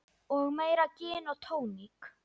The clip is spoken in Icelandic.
Og meira gin og tónik.